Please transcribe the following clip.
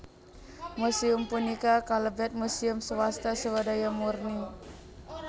Museum punika kalebet muséum swasta swadaya murni